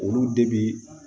Olu de bi